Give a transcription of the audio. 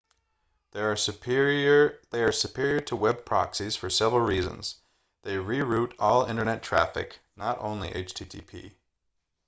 they are superior to web proxies for several reasons they re-route all internet traffic not only http